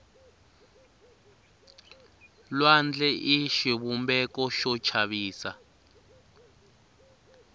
lwandle i xivumbeko xo chavisa